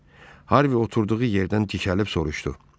Harvi oturduğu yerdən dikəlib soruşdu.